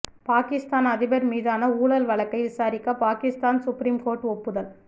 பாகிஸ்தான் அதிபர் மீதான ஊழல் வழக்கை விசாரிக்க பாகிஸ்தான் சுப்ரீம் கோர்ட் ஒப்புதல்